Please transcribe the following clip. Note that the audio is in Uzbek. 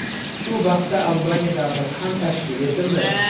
Shu vaqtda Albaniya davlati ham tashkil etildi.